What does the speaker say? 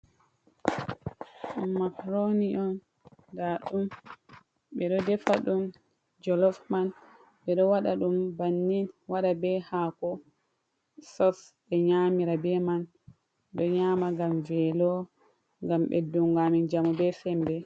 "Makrooni" on ndaa ɗum ɓe ɗo defa ɗum jolof man ɓe ɗo waɗa ɗum bannin, waɗa bee haako "sos" ɓe nyaamira bee man. Ɗo nyaama ngam veelo ngam ɓeddungo amin njamu bee semmbe.